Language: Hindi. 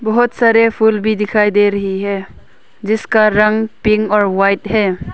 बहुत सारे फूल भी दिखाई दे रही है जिसका रंग पिंक और वाइट है।